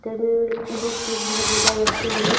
Books लोग बहुत ज्यादा रखें हैं।